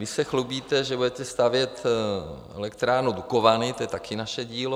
Vy se chlubíte, že budete stavět elektrárnu Dukovany - to je taky naše dílo.